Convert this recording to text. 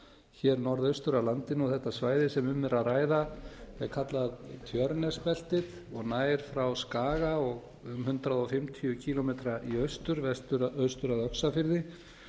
hér norðaustur af landinu þetta svæði sem um er að ræða er kallað tjörnesbeltið og nær frá skaga um hundrað fimmtíu kílómetra í austur af öxarfirði